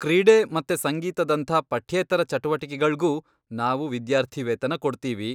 ಕ್ರೀಡೆ ಮತ್ತೆ ಸಂಗೀತದಂಥ ಪಠ್ಯೇತರ ಚಟುವಟಿಕೆಗಳ್ಗೂ ನಾವು ವಿದ್ಯಾರ್ಥಿವೇತನ ಕೊಡ್ತೀವಿ.